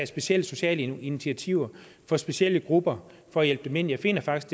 specielle sociale initiativer for specielle grupper for at hjælpe dem ind jeg finder faktisk